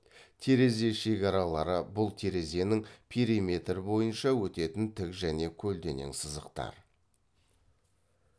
терезе шекаралары бұл терезенің периметр бойынша өтетін тік және көлденең сызықтар